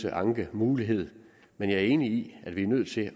ankemulighed men jeg er enig i at vi er nødt til at